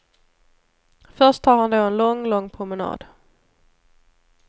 Först tar han då en lång, lång promenad.